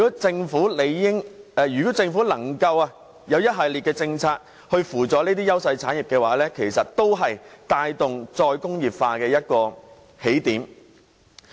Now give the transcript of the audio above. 政府如可推出一系列政策輔助這些優勢產業，其實也是帶動"再工業化"的一個起點。